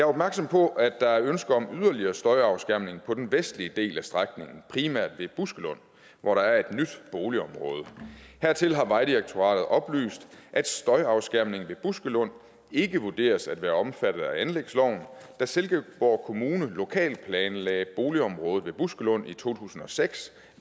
opmærksom på at der er ønsker om yderligere støjafskærmning på den vestlige del af strækningen primært ved buskelund hvor der er et nyt boligområde hertil har vejdirektoratet oplyst at støjafskærmning ved buskelund ikke vurderes at være omfattet af anlægsloven da silkeborg kommune lokalplanlagde boligområdet ved buskelund i to tusind og seks